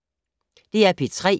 DR P3